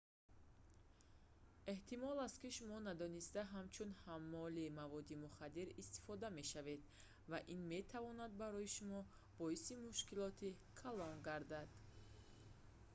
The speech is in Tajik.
эҳтимол аст ки шумо надониста ҳамчун ҳаммоли маводи мухаддир истифода мешавед ва ин метавонад барои шумо боиси мушкилоти калон гардад